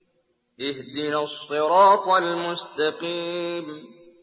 اهْدِنَا الصِّرَاطَ الْمُسْتَقِيمَ